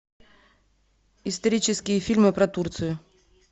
исторические фильмы про турцию